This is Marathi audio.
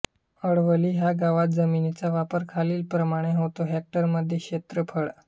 अडवली ह्या गावात जमिनीचा वापर खालीलप्रमाणे होतो हेक्टरमध्ये क्षेत्रफळ